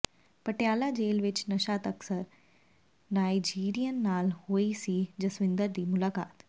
ਪਟਿਆਲਾ ਜੇਲ੍ਹ ਵਿੱਚ ਨਸ਼ਾ ਤਸਕਰ ਨਾਇਜੀਰੀਅਨ ਨਾਲ ਹੋਈ ਸੀ ਜਸਵਿੰਦਰ ਦੀ ਮੁਲਾਕਾਤ